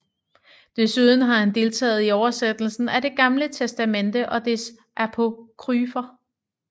Desuden har han deltaget i oversættelsen af det Gamle Testamente og dets apokryfer